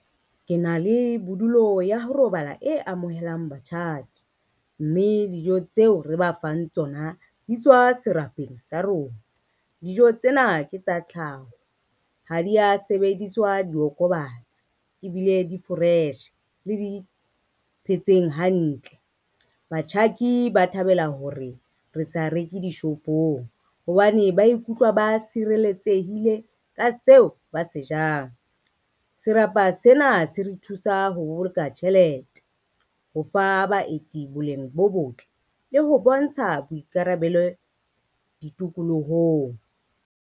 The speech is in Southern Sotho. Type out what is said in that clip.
Ke na le bodulo ya ho robala e amohelang batjhaki, mme dijo tseo re ba fang tsona di tswa serapeng sa rona. Dijo tsena ke tsa tlhaho ha dia sebediswa diokobatsi ebile di-fresh le di phetseng hantle. Batjhaki ba thabela hore re sa reke dishopong, hobane ba ikutlwa ba sireletsehile ka seo ba se jang. Serapa sena se re thusa ho boloka tjhelete, ho fa baeti boleng bo botle le ho bontsha boikarabelo ditokolohong.